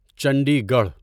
Chandi Garh